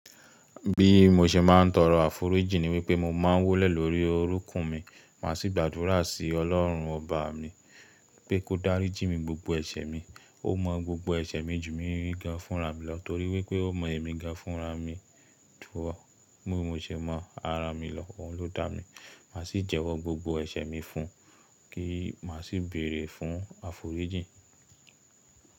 Bí mo ṣe máa ń tọrọ àforíjìn ni wípé mo máa ń wólẹ̀ lórí orúnkún mi, máa sì gbàdúrà sí ọlọ́run ọba mi pé kó dáríjì mí gbogbo ẹ̀ṣẹ̀ mi, ó mọ gbogbo ẹ̀ṣẹ̀ mi ju mi rí ga fúnra mi lọ torí wípé ó mọ èmi ga fúnra mi tú ọ. Bí mo ṣe máa rà mí lọ, òun ló dà mí. Màá sì jẹ́wọ́ gbogbo ẹ̀ṣẹ̀ mi fún un kí màá sì béèrè fún àforíjìn.